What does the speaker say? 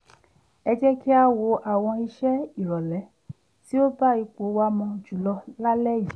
ẹ jẹ́ kí á wo àwọn ìṣe ìrọ̀lẹ́ tí ó bá ipò wa mu jùlọ lálẹ́ yìí